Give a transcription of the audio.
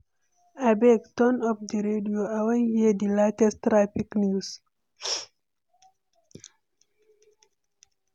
Abeg, turn up di radio, I wan hear di latest traffic news.